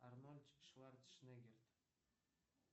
арнольд шварцнегерт